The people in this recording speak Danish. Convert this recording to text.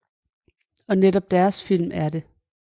Og netop deres film er det